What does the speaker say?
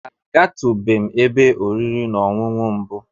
A ga tu bem ebe oriri na Ọṅụṅụ mbu.